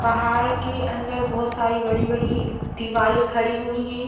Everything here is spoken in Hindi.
पहाड़ के अंदर बहुत सारी बड़ी - बड़ी दिवाले खड़ी हुई है।